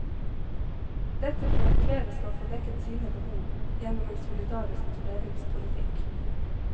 Dette for at flere skal få dekket sine behov gjennom en solidarisk fordelingspolitikk.